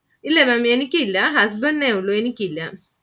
ഇല്ല Maám എനിക്കില്ല Husband ഇനെ ഉള്ളു. എനിക്കില്ല.